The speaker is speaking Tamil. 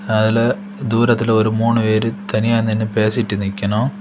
அல தூரத்துல ஒரு முணு பேர் தனிய நின்னு பேசிட்டு நிக்கணும்.